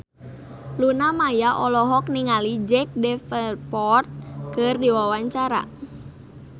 Luna Maya olohok ningali Jack Davenport keur diwawancara